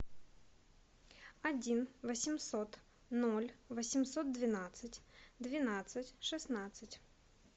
один восемьсот ноль восемьсот двенадцать двенадцать шестнадцать